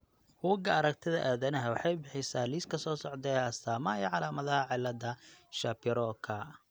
Bugga Aaragtiyaha Aadanaha waxay bixisaa liiska soo socda ee astaamaha iyo calaamadaha cillada Shapiroka.